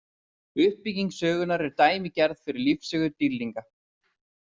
Uppbygging sögunnar er dæmigerð fyrir lífssögur dýrlinga.